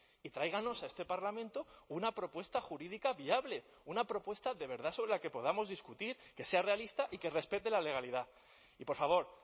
y tráiganos a este parlamento una propuesta jurídica viable una propuesta de verdad sobre la que podamos discutir que sea realista y que respete la legalidad y por favor